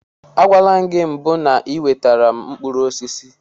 Agwala m gị na mbụ n'iwetara m mkpụrụ osisi.